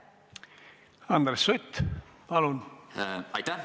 Andres Sutt, palun!